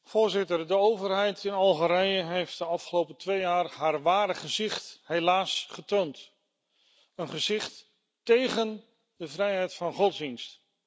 Voorzitter, de overheid in Algerije heeft de afgelopen twee jaar haar ware gezicht helaas getoond een gezicht tegen de vrijheid van godsdienst.